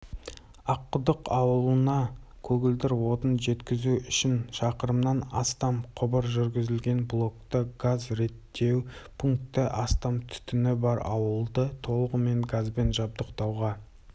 аққұдық ауылына көгілдір отынды жеткізу үшін шақырымнан астам құбыр жүргізілген блокты газ реттеу пункті астам түтіні бар ауылды толығымен газбен жабдықтауға